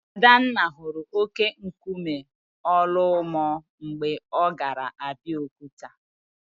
Adanna hụrụ óké nkume Ọlụmọ mgbe ọ gara Abokuta.